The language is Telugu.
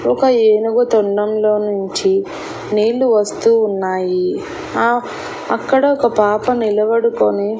ఒక ఏనుగు తొండంలో నుంచి నీళ్లు వస్తూ ఉన్నాయి ఆ అక్కడ ఒక పాప నిలబడుకొని --